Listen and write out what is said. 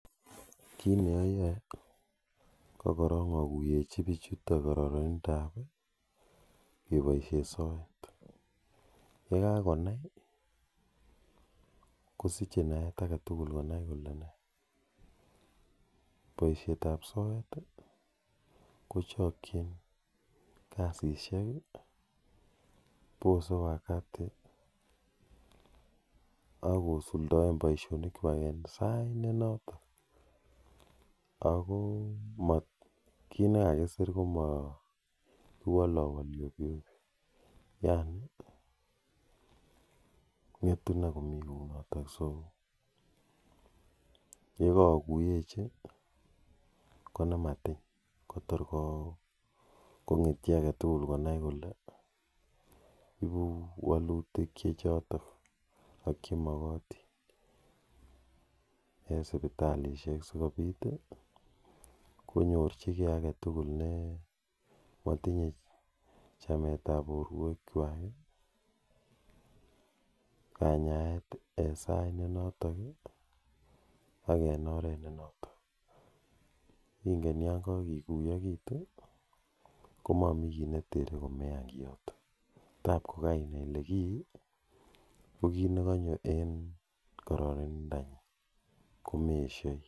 Kiit neaae kokorook akuyechiin pichutok poisheeet ap soeet ako poisheet ap soeet kochakchiin ako kiit nekakisir kowalalwalii opyoopyoo ako posee wakati akosuldaee poishonik kwak eng sait notok ako ngetun iman kounotok ak ko ibu walutik chotok che magatiin ako makat ko ngeen chitoo koleee mamii kii neterre ako taa ingeen ilee kii ko kanyoo eng karararindaa nguun ako magoi ieshee